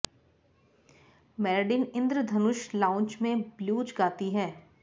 Meridien इंद्रधनुष lounge में blues गाती है